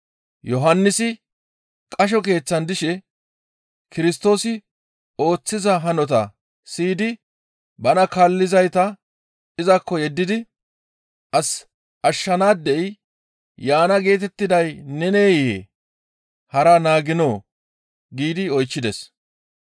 Yohannisi qasho keeththan dishe Kirstoosi ooththiza hanota siyidi bana kaallizayta izakko yeddidi, «As ashshizaadey yaana geetettiday neneyee? Hara naaginoo?» giidi oychchides.